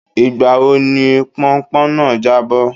Ìgbà wo ni pọnpọ́n náà jábọ́?